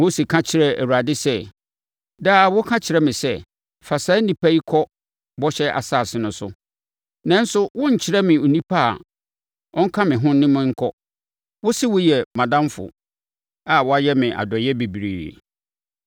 Mose ka kyerɛɛ Awurade sɛ, “Daa woka kyerɛ me sɛ, ‘Fa saa nnipa yi kɔ bɔhyɛ asase no so, nanso wonkyerɛɛ me onipa a ɔnka me ho ne me nkɔ. Wose woyɛ mʼadamfo a woayɛ me adɔeɛ bebree.’